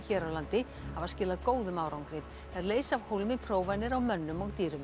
hér á landi hafa skilað góðum árangri þær leysa af hólmi prófanir á mönnum og dýrum